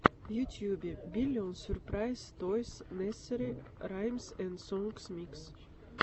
в ютюбе биллион сюрпрайз тойс несери раймс энд сонгс микс